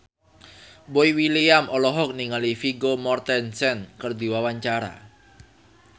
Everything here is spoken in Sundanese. Boy William olohok ningali Vigo Mortensen keur diwawancara